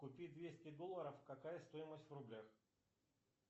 купи двести долларов какая стоимость в рублях